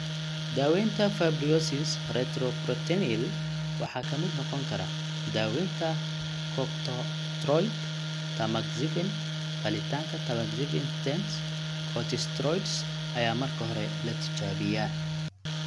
Daawaynta fibrosis retroperitoneal waxaa ka mid noqon kara: Daaweynta Corticosteroid Tamoxifen Qalitaanka Tamoxifen Stents Corticosteroids ayaa marka hore la tijaabiyaa.